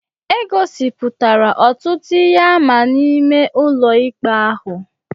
E gosipụtara ọtụtụ ihe àmà n'ime ụlọikpe ahụ